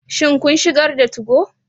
Shin kun shigar da 2go?